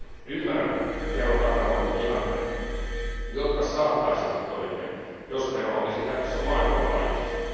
Ymmärrän veron takana olevat ihanteet, jotka saattaisivat toimia, jos vero olisi käytössä maailmanlaajuisesti.